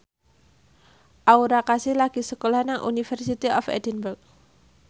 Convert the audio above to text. Aura Kasih lagi sekolah nang University of Edinburgh